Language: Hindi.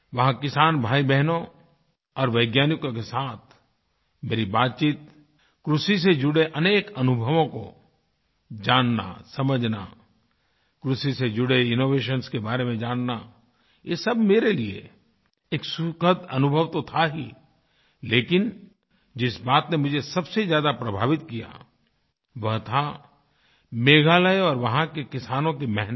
वहाँ किसान भाईबहनों और वैज्ञानिकों के साथ मेरी बातचीत कृषि से जुड़े अनेक अनुभवों को जानना समझना कृषि से जुड़े इनोवेशंस के बारे में जानना ये सब मेरे लिए एक सुखद अनुभव तो था ही लेकिन जिस बात ने मुझे सबसे ज्यादा प्रभावित किया वो था मेघालय और वहाँ के किसानों की मेहनत